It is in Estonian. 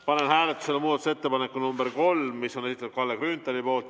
Panen hääletusele muudatusettepaneku nr 3, mis on Kalle Grünthali esitatud.